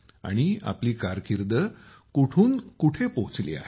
आणि आपली कारकीर्द कुठून कुठे पोहचली आहे